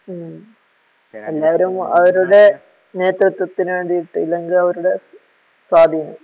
മ് എല്ലാവരും അവരുടെ നേത്രത്വത്തിന് വേണ്ടിട്ട് ഇല്ലെങ്കിലവരുടെ സ്വാധീനം